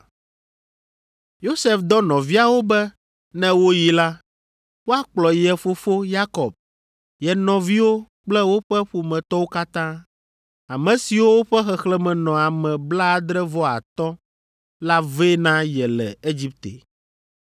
Yosef dɔ nɔviawo be ne woyi la, woakplɔ ye fofo Yakob, ye nɔviwo kple woƒe ƒometɔwo katã, ame siwo ƒe xexlẽme nɔ ame blaadre-vɔ-atɔ̃ la vɛ na ye le Egipte.